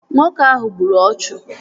Nwoke ahụ gburu ọchụ